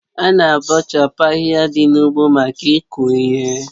Ána abọchapu ahịhịa dị n'ugbo maka iku ihe